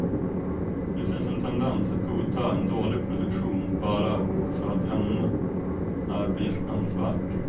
Det finns en tendens att godta en dålig produktion bara för att ämnet är behjärtansvärt.